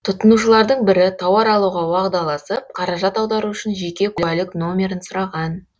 тұтынушылардың бірі тауар алуға уағдаласып қаражат аудару үшін жеке куәлік номерін сұраған